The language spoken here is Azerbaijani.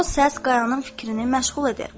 O səs Qayanın fikrini məşğul edir.